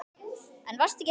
En varstu ekki hræddur?